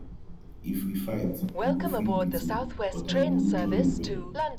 if we fight you go fit beat me but i go injure you well